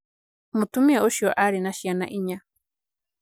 Mũtumia ũcio aarĩ na ciana inya.